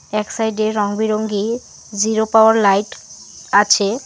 এক সাইড -এ রঙবেরঙ্গের জিরো পাওয়ার লাইট আছে।